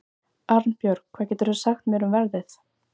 Arnbjörg, hvað geturðu sagt mér um veðrið?